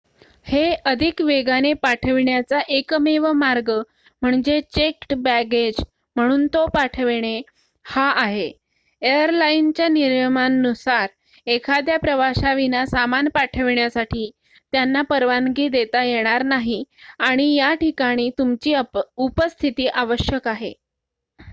हे अधिक वेगाने पाठविण्याचा एकमेव मार्ग म्हणजे चेक्ड बॅगेज म्हणून तो पाठविणे हा आहे एयरलाईनच्या नियमांनुसार एखाद्या प्रवाशाविना सामान पाठविण्यासाठी त्यांना परवानगी देता येणार नाही आणि याठिकाणी तुमची उपस्थिती आवश्यक आहे